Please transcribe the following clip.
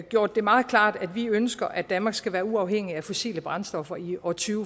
gjort det meget klart at vi ønsker at danmark skal være uafhængigt af fossile brændstoffer i år to